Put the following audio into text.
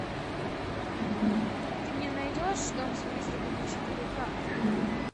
ты мне найдешь дом с призраками четыре ка